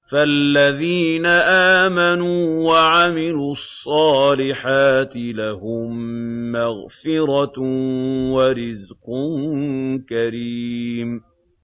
فَالَّذِينَ آمَنُوا وَعَمِلُوا الصَّالِحَاتِ لَهُم مَّغْفِرَةٌ وَرِزْقٌ كَرِيمٌ